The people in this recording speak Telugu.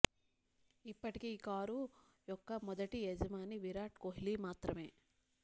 ఇప్పటికి ఈ కారు యొక్క మొదటి యజమాని విరాట్ కోహ్లి మాత్రమే